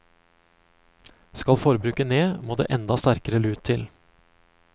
Skal forbruket ned, må det enda sterkere lut til.